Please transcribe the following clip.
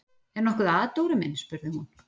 Er nokkuð að, Dóri minn? spurði hún.